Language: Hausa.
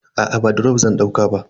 Aa ba drop zan dauka ba.